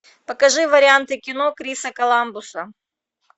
покажи варианты кино криса коламбуса